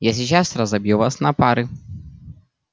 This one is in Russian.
я сейчас разобью вас на пары